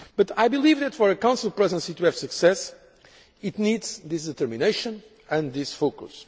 today. I believe for a Council Presidency to have success it needs determination and